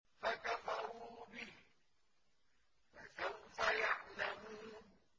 فَكَفَرُوا بِهِ ۖ فَسَوْفَ يَعْلَمُونَ